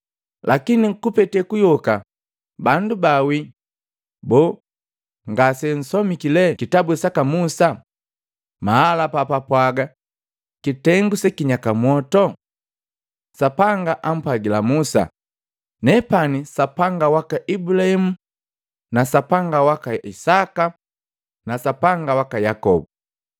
Lakini kupete kuyoka bandu baawii, boo, ngasensomiki lee kitabu saka Musa maala papapwaga kitengu sekinyaka mwoto? Sapanga ampwagila Musa, ‘Nepani Sapanga waka Ibulahimu na Sapanga waka Isaka na Sapanga waka Yakobo.’